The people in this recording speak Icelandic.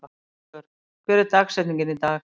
Ásvör, hver er dagsetningin í dag?